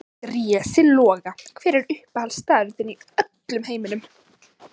Drési Loga Hver er uppáhaldsstaðurinn þinn í öllum heiminum?